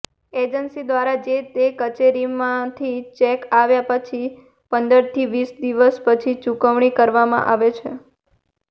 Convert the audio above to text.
agency દ્વારા જેતે કચેરીમાંથી ચેક આપ્યા પછી પંદરથી વીસ દિવસ પછી ચૂકવણુ કરવામાં આવે છે